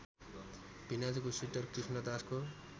भिनाजुको sweater कृष्णदासको